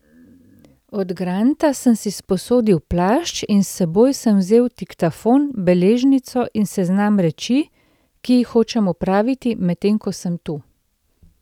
Od Granta sem si sposodil plašč in s seboj sem vzel diktafon, beležnico in seznam reči, ki jih hočem opraviti, medtem ko sem tu.